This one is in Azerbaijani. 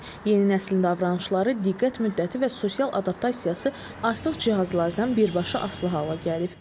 Yeni nəslin davranışları, diqqət müddəti və sosial adaptasiyası artıq cihazlardan birbaşa asılı hala gəlib.